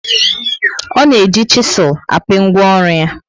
O na eji chisul api ngwaọrụ ya